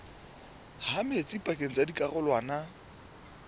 ha metsi pakeng tsa dikarolwana